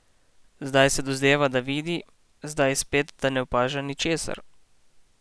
Zdaj se dozdeva, da vidi, zdaj spet, da ne opaža ničesar.